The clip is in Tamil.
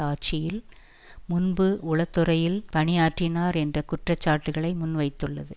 ஆட்சியில் முன்பு உளத்துறையில் பணியாற்றினார் என்ற குற்ற சாட்டுக்களை முன்வைத்துள்ளது